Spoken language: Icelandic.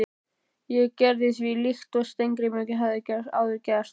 Ég gerði því líkt og Steingrímur hafði áður gert.